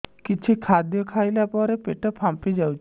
କିଛି ଖାଦ୍ୟ ଖାଇଲା ପରେ ପେଟ ଫାମ୍ପି ଯାଉଛି